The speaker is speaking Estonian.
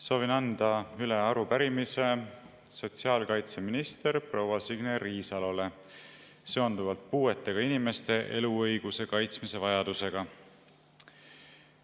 Soovin anda üle arupärimise sotsiaalkaitseminister proua Signe Riisalole seonduvalt puuetega inimeste eluõiguse kaitsmise vajadusega.